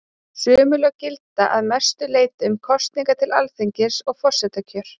Sömu lög gilda að mestu leyti um kosningar til Alþingis og forsetakjör.